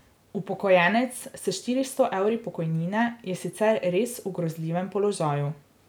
Upokojenec s štiristo evri pokojnine je sicer res v grozljivem položaju.